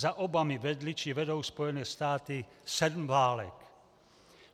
Za Obamy vedly či vedou Spojené státy sedm válek.